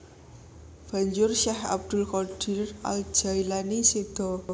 Banjur Syaikh Abdul Qadir Al Jailani sedo